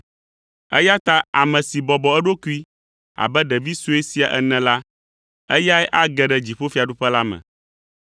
eya ta ame si bɔbɔ eɖokui abe ɖevi sue sia ene la, eyae age ɖe dziƒofiaɖuƒe la me.